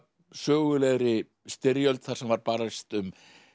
sögulegri styrjöld þar sem var barist um